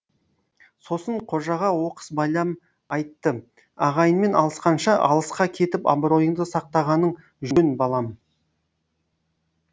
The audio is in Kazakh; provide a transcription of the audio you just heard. сосын қожаға оқыс байлам айтты ағайынмен алысқанша алысқа кетіп абыройынды сақтағаның жөн балам